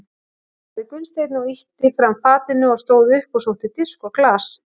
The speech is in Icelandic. sagði Gunnsteinn og ýtti fram fatinu og stóð upp og sótti disk og glas.